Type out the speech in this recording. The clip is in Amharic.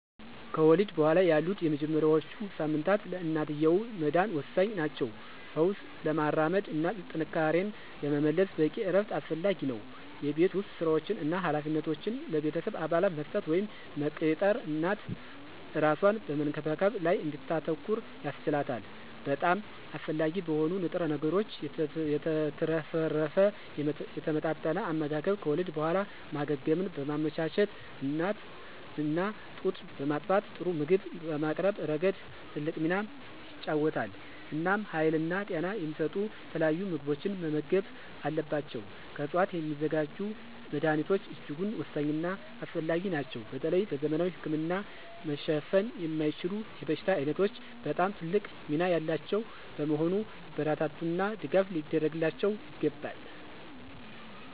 ከወሊድ በኋላ ያሉት የመጀመሪያዎቹ ሳምንታት ለእናትየው መዳን ወሳኝ ናቸው። ፈውስ ለማራመድ እና ጥንካሬን ለመመለስ በቂ እረፍት አስፈላጊ ነው። የቤት ውስጥ ሥራዎችን እና ኃላፊነቶችን ለቤተሰብ አባላት መስጠት ወይም መቅጠር እናት እራሷን በመንከባከብ ላይ እንድታተኩር ያስችላታል። በጣም አስፈላጊ በሆኑ ንጥረ ነገሮች የተትረፈረፈ የተመጣጠነ አመጋገብ ከወሊድ በኋላ ማገገምን በማመቻቸት እና ጡት በማጥባት ጥሩ ምግብ በማቅረብ ረገድ ትልቅ ሚና ይጫወታል። እናም ሀይልና ጤና የሚሰጡ የተለያዩ ምግቦችን መመገብ አለባቸው። ከዕፅዋት የሚዘጋጁ መድኀኒቶች እጅጉን ወሳኝና አስፈላጊ ናቸው በተለይ በዘመናዊ ህክምና መሸፈን የማይችሉ የበሽታ ዓይነቶች በጣም ትልቅ ሚና ያላቸው በመሆኑ ሊበረታቱና ድጋፍ ሊደረግላቸው ይገባል።